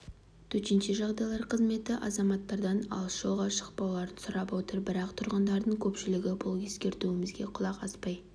төтенше жағдайлар қызметі азаматтардан алыс жолға шықпауларын сұрап отыр бірақ тұрғындардың көпшілігі бұл ескертуімізге құлақ аспай